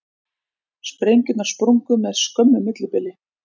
Sprengjurnar sprungu með skömmu millibili